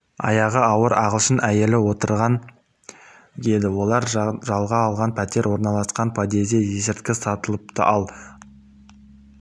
аяғы ауыр ағылшын әйел отырған еді олар жалға алған пәтер орналасқан подъезде есірткі сатылыпты ал